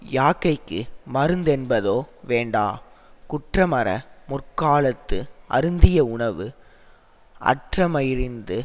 யாக்கைக்கு மருந்தென்பதொ வேண்டா குற்றமற முற்காலத்து அருந்திய உணவு அற்றமையறிந்து